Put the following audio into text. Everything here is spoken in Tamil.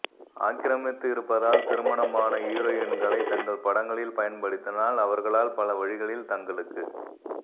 ஆக்கிரமித்து இருப்பதால் திருமணமான ஹீரோயின்களை தங்கள் படங்களில் பயன்படுத்தினால் அவர்களால் பல வழிகளில் தங்களுக்கு